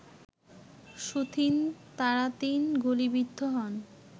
soothing তারাতিন গুলিবিদ্ধ হন